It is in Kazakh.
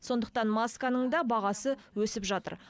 сондықтан масканың да бағасы өсіп жатыр